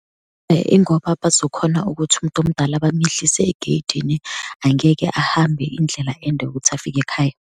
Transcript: Ingoba bazokhona ukuthi umuntu omdala bamyehlise egeyidini. Angeke ahambe indlela ende ukuthi afike ekhaya.